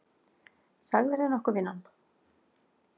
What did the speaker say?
Sagðirðu nokkuð vinan?